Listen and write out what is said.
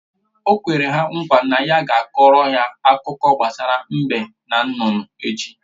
O kwere ha nkwa na ya ga-akọọrọ ha akụkọ gbasara mbe na nnụnụ echi